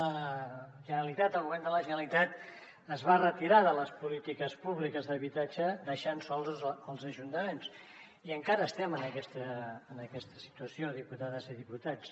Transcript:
la generalitat el govern de la generalitat es va retirar de les polítiques públiques d’habitatge deixant sols els ajuntaments i encara estem en aquesta situació diputades i diputats